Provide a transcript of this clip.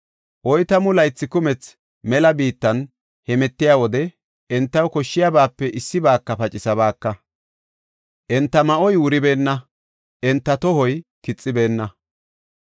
Oytamu laythi kumethi mela biittan hemetiya wode entaw koshshiyabaape issibaaka pacisabaaka. Enta ma7oy wuribeenna; enta tohoy kixibeenna.